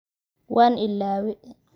waan ilaaway.